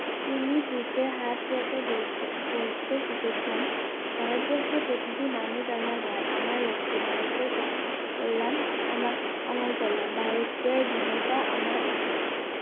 তিনি বুকে হাত রেখে বলতে বলতে শিখেছেন ভারতবর্ষের প্রতিটি মানুষ আমার ভাই আমার রক্ত ভারতের ক~কল্যাণ আমার আমার কল্যাণ ভারতের ধীণতা আমার অপমান